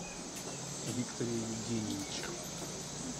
викторе евгеньевиче